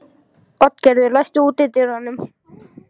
Oddgerður, læstu útidyrunum.